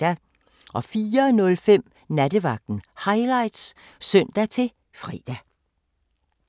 04:05: Nattevagten Highlights (søn-fre)